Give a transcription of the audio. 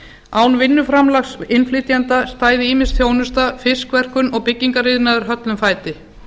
án vinnuframlags innflytjenda stæði ýmis þjónusta fiskverkun og byggingariðnaður höllum fæti